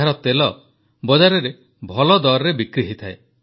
ଏହାର ତେଲ ବଜାରରେ ଭଲ ଦରରେ ବିକ୍ରି ହୋଇଥାଏ